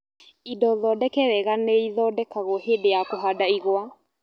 Indo thondeke wega nĩithondekagwo hĩndĩ ya kũhanda igwa